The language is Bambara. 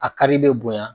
A kari bɛ bonya